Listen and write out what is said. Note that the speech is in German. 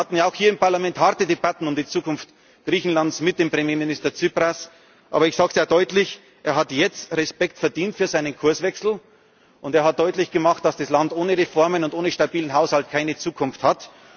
uns haben. Wir hatten ja auch hier im Parlament harte Debatten um die Zukunft Griechenlands mit dem Premierminister Tsipras, aber ich sage sehr deutlich Er hat jetzt Respekt verdient für seinen Kurswechsel, und er hat deutlich gemacht, dass das Land ohne Reformen und ohne stabilen Haushalt keine